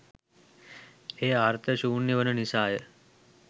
එය අර්ථ ශූන්‍යය වන නිසා ය.